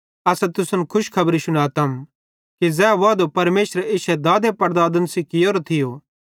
असां तुसन खुशखबरी शुनातम कि ज़ै वादो परमेशरे इश्शे दादेपड़दादन सेइं कियोरो थियो